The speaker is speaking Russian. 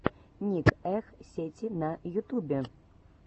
ник эх сети на ютубе